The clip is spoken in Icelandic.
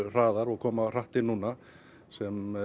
koma hratt inn sem